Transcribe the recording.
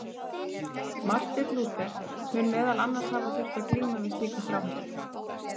Marteinn Lúther mun meðal annars hafa þurft að glíma við slíka þráhyggju.